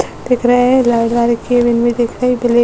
दिख रहा है। लाल कैबिन भी दिख रही है। ब्लै --